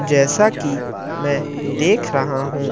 जैसा कि मैं देख रहा हूं।